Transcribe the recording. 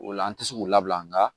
O la an tɛ se k'u labila nga